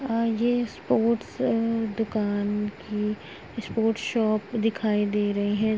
अ ये स्पोर्ट्स अ दुकान की स्पोर्ट्स शॉप दिखाई दे रही है।